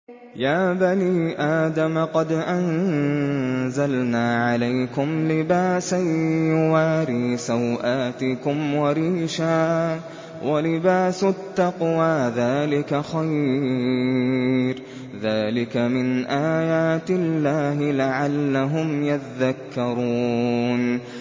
يَا بَنِي آدَمَ قَدْ أَنزَلْنَا عَلَيْكُمْ لِبَاسًا يُوَارِي سَوْآتِكُمْ وَرِيشًا ۖ وَلِبَاسُ التَّقْوَىٰ ذَٰلِكَ خَيْرٌ ۚ ذَٰلِكَ مِنْ آيَاتِ اللَّهِ لَعَلَّهُمْ يَذَّكَّرُونَ